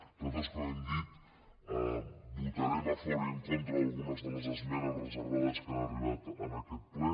nosaltres com hem dit votarem a favor i en contra d’algunes de les esmenes reservades que han arribat en aquest ple